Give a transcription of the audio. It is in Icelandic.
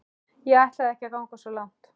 Ég ætlaði ekki að ganga svo langt.